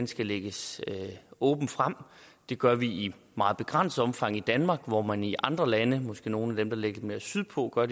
skal lægges åbent frem det gør vi i meget begrænset omfang i danmark hvor man i andre lande måske nogle af dem der ligger lidt mere sydpå gør